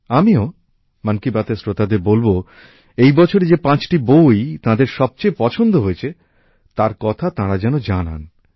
আমিও মন কী বাতএর শ্রোতাদের বলব এই বছরে যে ৫টি বই তাঁদের সবচেয়ে পছন্দ হয়েছে তার কথা তাঁরা যেন জানান